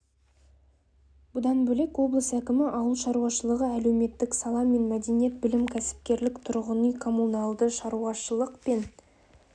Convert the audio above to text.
бұдан бөлек облыс әкімі ауыл шаруашылығы әлеуметтік сала мен мәдениет білім кәсіпкерлік тұрғын үй-коммуналды шаруашылық пен